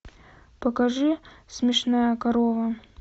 покажи смешная корова